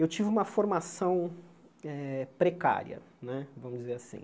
Eu tive uma formação eh precária né, vamos dizer assim.